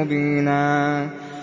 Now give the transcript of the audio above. مُّبِينًا